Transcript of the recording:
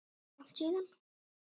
Langt síðan?